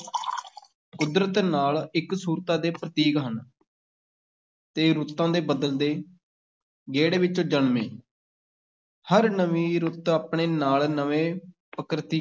ਕੁਦਰਤ ਨਾਲ ਇਕਸੁਰਤਾ ਦੇ ਪ੍ਰਤੀਕ ਹਨ ਤੇ ਰੁੱਤਾਂ ਦੇ ਬਦਲਦੇ ਗੇੜ ਵਿੱਚੋਂ ਜਨਮੇ ਹਰ ਨਵੀਂ ਰੁੱਤ ਆਪਣੇ ਨਾਲ ਨਵੇਂ